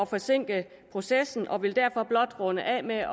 forsinke processen og vil derfor blot runde af med at